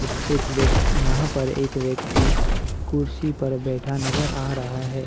एक वेक यहाँ पर एक व्यक्ति कुर्सी पर बैठा नजर आ रहा है।